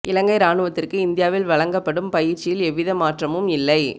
இலங்கை இராணுவத்திற்கு இந்தியாவில் வழங்க ப்படும் பயிற்சியில் எவ்வித மாற்றமும் இல்லை